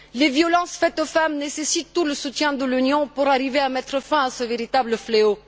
Les violences faites aux femmes nécessitent tout le soutien de l'Union pour arriver à mettre fin à ce véritable fléau.